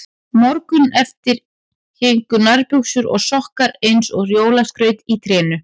Morguninn eftir héngu nærbuxur og sokkar eins og jólaskraut í trénu.